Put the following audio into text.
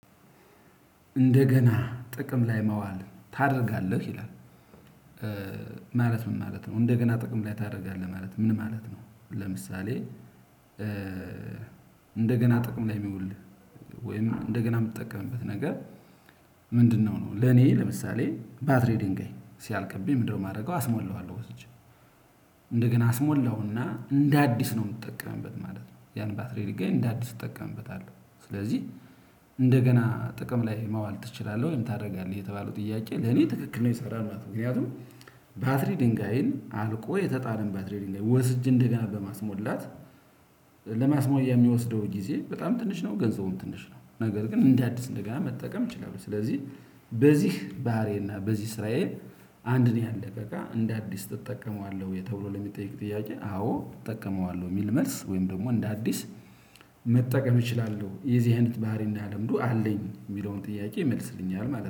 እንደገና ጥቅም ላይ መዋል ታደርጋለህ ይላል? ማለት ምን ማለት ነው እንደገና ጥቅም ላይ ታደርጋለህ ማለት ነው ምን ማለት ነው? ለምሳሌ። እንደገና ጥቅም ላይ የሚውል ወይም እንደገና የምትጠቀምበት ነገር? ምንድነው ነው ለኔ ለምሳሌ ባትሪ ዲንጋይ ሲያልቅብኝ ምንድነው የማደርገው አስሞላዋለሁ ወስጄ። እንደገና አስሞላውና እንደ አዲስ ነው የምትጠቀመበት ማለት ነው። ያን ባትሪ ሊገኝ እንደ አዲስ ትጠቀምበታለህ። ስለዚህ እንደገና ጥቅም ላይ ማዋል ትችላለህ ወይም ታደርጋለህ የተባለው ጥያቄ ለኔ ትክክል ነው ይሰራል ማለት ነው። ምክንያቱም ባትሪ ድንጋይን አልቆ የተጣለን ባትሪ ድንጋይ ወስጄ እንደገና በማስሞላት ለማስሞያ የሚወስደው ጊዜ በጣም ትንሽ ነው። ገንዘቡም ትንሽ ነው። ነገር ግን እንደ አዲስ እንደገና መጠቀም እችላለሁ። ስለዚህ በዚህ ባህሪዬና በዚህ ስራዬ። አንድ ነው ያለቀቀ እንደ አዲስ እጠቀመዋለሁ የተብሎ ለሚጠይቅ ጥያቄ አዎ እጠቀመዋለሁ የሚል መልስ ወይም ደግሞ እንደ አዲስ መጠቀም እችላለሁ። የዚህ አይነት ባህሪ እና ልምዱ አለኝ የሚለውን ጥያቄ ይመልስልኛል ማለት ነው